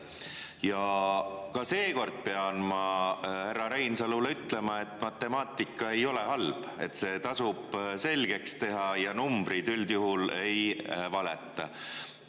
Ja ka seekord pean ma härra Reinsalule ütlema, et matemaatika ei ole halb, see tasub selgeks teha, numbrid üldjuhul ei valeta.